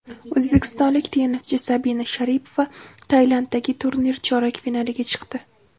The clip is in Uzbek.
O‘zbekistonlik tennischi Sabina Sharipova Tailanddagi turnir chorak finaliga chiqdi.